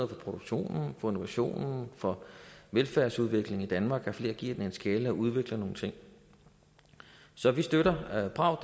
for produktionen for innovationen for velfærdsudviklingen i danmark at flere giver den en skalle og udvikler nogle ting så vi støtter bravt